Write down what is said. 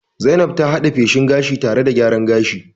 Zainab ta had'e feshin gashi tare da gyaran jiki.